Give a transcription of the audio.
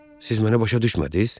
Siz mənə başa düşmədiz?